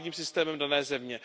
právním systémem dané země.